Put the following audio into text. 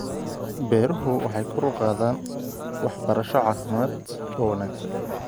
Beeruhu waxay kor u qaadaan waxbarasho caafimaad oo wanaagsan.